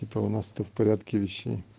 это у нас ты в порядке вещей